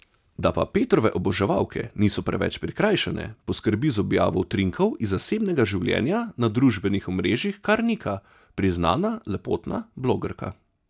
Da pa Petrove oboževalke niso preveč prikrajšane, poskrbi z objavo utrinkov iz zasebnega življenja na družbenih omrežjih kar Nika, priznana lepotna blogerka.